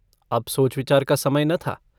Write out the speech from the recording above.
अब सोचविचार का समय न था।